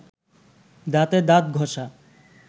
দাঁতে দাঁত ঘষা